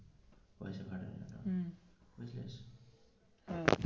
হম ও.